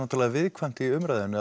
viðkvæmt í umræðunni